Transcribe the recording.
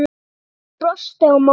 Stjáni brosti á móti.